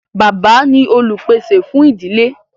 Bàbá ni olùpèsè fún ìdílé.